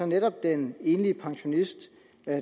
netop den enlige pensionist